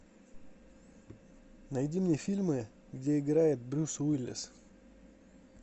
найди мне фильмы где играет брюс уиллис